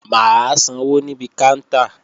Mà á sanwó níbi káńtà